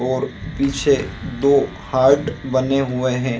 और पीछे दो हार्ट बने हुए है।